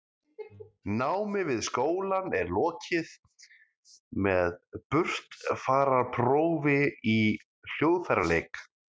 námi við skólann er lokið með burtfararprófi í hljóðfæraleik